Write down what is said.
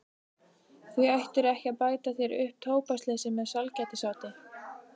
Því ættirðu ekki að bæta þér upp tóbaksleysið með sælgætisáti.